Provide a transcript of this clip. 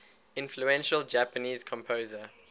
influential japanese composer